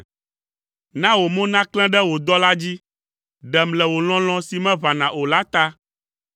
Na wò mo naklẽ ɖe wò dɔla dzi, ɖem le wò lɔlɔ̃ si meʋãna o la ta.